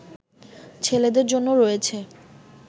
ছেলেদের জন্য রয়েছে